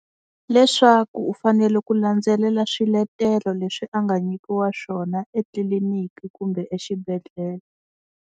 Leswaku u fanele ku landzelela swiletelo leswi a nga nyikiwa swona etliliniki kumbe exibedhlele.